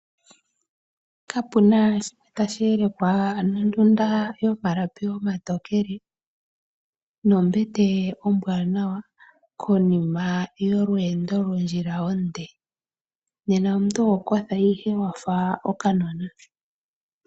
Kapuna shi tashi elekwa nondunda yomalapi omatokele nombete ombwaanawa konima yolweendo lwondjila onde, nena omuntu oho kotha ihe wafa okanona.